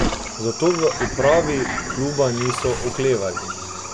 Zato v upravi kluba niso oklevali.